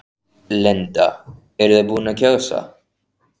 Linda: Eruð þið búin að kjósa?